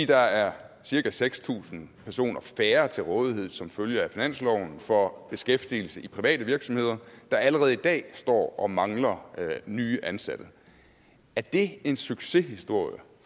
der er cirka seks tusind personer færre til rådighed som følge af finansloven for beskæftigelse i private virksomheder der allerede i dag står og mangler nye ansatte er det en succeshistorie